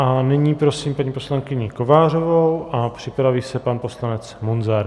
A nyní prosím paní poslankyni Kovářovou a připraví se pan poslanec Munzar.